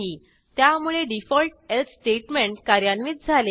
त्यामुळे default else statement कार्यान्वित झाले